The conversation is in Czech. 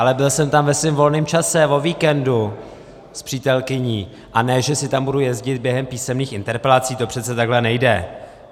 Ale byl jsem tam ve svém volném času, o víkendu, s přítelkyní, a ne že si tam budu jezdit během písemných interpelací, to přece takhle nejde.